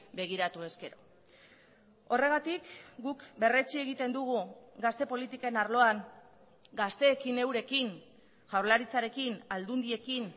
begiratu ezkero horregatik guk berretsi egiten dugu gazte politiken arloan gazteekin eurekin jaurlaritzarekin aldundiekin